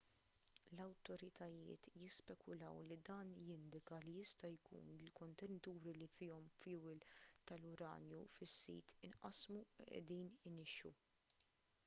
l-awtoritajiet jispekulaw li dan jindika li jista' jkun li l-kontenituri li fihom fjuwil tal-uranju fis-sit inqasmu u qiegħdin inixxu